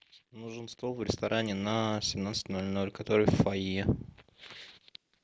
нужен стол в ресторане на семнадцать ноль ноль который в фойе